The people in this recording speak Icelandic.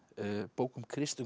bók um Krist